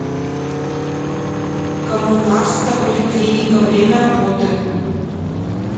коммунарская поликлиника время работы